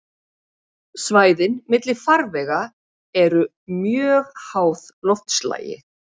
Svæðin milli farvega eru mjög háð loftslagi.